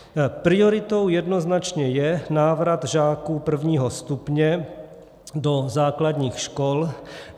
Prioritou jednoznačně je návrat žáků prvního stupně do základních škol.